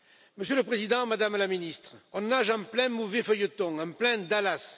Monsieur le Président, Madame la Ministre, on nage en plein mauvais feuilleton, en plein Dallas